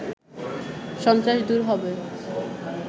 সন্ত্রাস দূর হবে